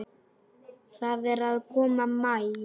Það er að koma maí.